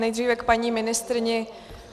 Nejdříve k paní ministryni.